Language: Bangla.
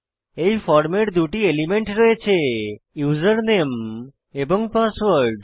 এই ফর্মের দুটি এলিমেন্ট রয়েছে ইউজারনেম এবং পাসওয়ার্ড